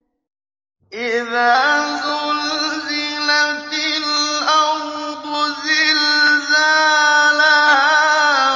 إِذَا زُلْزِلَتِ الْأَرْضُ زِلْزَالَهَا